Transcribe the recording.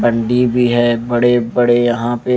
गंदी भी है बड़े-बड़े यहां पर--